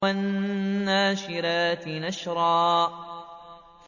وَالنَّاشِرَاتِ نَشْرًا